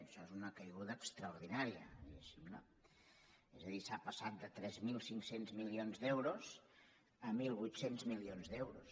això és una caiguda extraordinària no és a dir s’ha passat de tres mil cinc cents milions d’euros a mil vuit cents milions d’euros